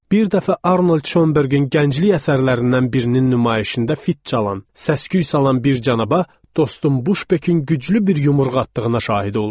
Bir dəfə Arnold Şönbergin gənclik əsərlərindən birinin nümayişində fit çalan, səs-küy salan bir cənabın dostun Buşpekin güclü bir yumruq atdığına şahid oldum.